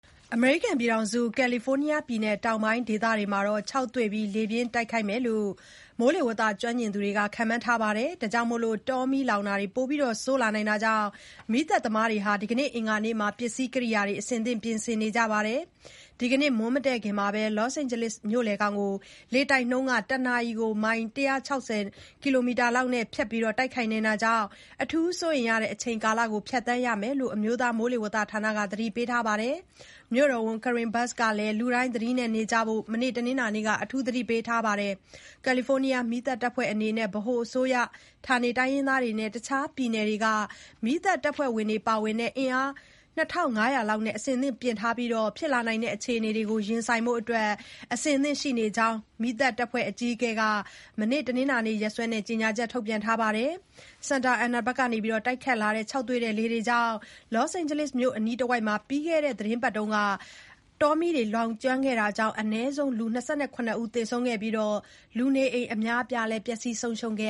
အမေရိကန်ပြည်ထောင်စု၊ ကယ်လီဖိုးနီးယားပြည်နယ် တောင်ပိုင်း ဒေသတွေမှာ ခြောက်သွေ့ပြီး လေပြင်းတိုက်ခတ်မယ်လို့ မိုးလေဝသ ကျွမ်းကျင်သူတွေ ခန့်မှန်းထားပြီး တောမီးလောင်မှု ပိုဆိုးလာနိုင်တာကြောင့် မီးသတ်သမားတွေက ဒီကနေ့ အင်္ဂါနေ့မှာ ပစ္စည်းကိရိယာတွေ အဆင်သင့် ပြင်ဆင်နေကြပါတယ်။ ဒီကနေ့ မွန်းမတည့်ခင်မှာ Los Angeles မြို့လယ်ခေါင်ကို လေတိုက်နှုန်း တနာရီ ၁၆၀ ကီလိုမီတာလောက်နဲ့ ဖြတ်ပြီး တိုက်ခိုက်နိုင်တာကြောင့် အထူး စိုးရိမ်ရတဲ့အချိန်ကာလတခုကို ဖြတ်သန်းရမယ်လို့ အမျိုးသားမိုးလေဝသဌာနက သတိပေးထားပါတယ်။ မြိုတော်ဝန် Karen Bass ကလည်း လူတိုင်း သတိနဲ့နေကြဖို့ မနေ့ တနင်္လာနေ့က သတိပေးထားပါတယ်။ ကယ်လီဖိုးနီးယား မီးသတ်တပ်ဖွဲ့အနေနဲ့လည်း ဗဟိုအစိုးရ၊ ဌာနေတိုင်းရင်းသားတွေနဲ့ တခြား ပြည်နယ်တွေက မီးသတ်တပ်ဖွဲ့တွေပါဝင်တဲ့ အင်အား ၂,၅၀၀ လောက်နဲ့ အဆင်သင့်ပြင်ထားပြီး ဖြစ်လာနိုင်တဲ့အခြေအနေတွေကို ရင်ဆိုင်ဖို့ အဆင်သင့်ရှိကြောင်း က မီးသတ်တပ်ဖွဲ့အကြီးအကဲက မနေ့ တနင်္လာနေ့ရက်စွဲနဲ့ ကြေညာချက် ထုတ်ပြန်ပါတယ်။ Santa Ana ဘက်က တိုက်ခတ်လာတဲ့ ခြောက်သွေ့တဲ့ လေတွေကြောင့် Los Angeles မြို့အနီးတဝိုက်မှာ ပြီးခဲ့တဲ့ သီတင်းပတ် အနည်းငယ်အတွင်း တောမီးတွေ လောင်ကျွမ်းခဲ့တာကြောင့် အနည်းဆုံး လူ ၂၇ ဦး သေဆုံးခဲ့ပြီးဖြစ်ပြီး လူနေအိမ် အများအပြားလည်း ပျက်ဆီး ဆုံးရှုံးခဲ့